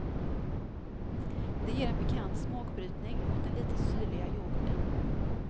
Det ger en pikant smakbrytning mot den lite syrliga yoghurten.